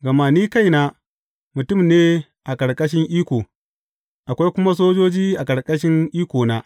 Gama ni kaina, mutum ne a ƙarƙashin iko, akwai kuma sojoji a ƙarƙashin ikona.